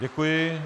Děkuji.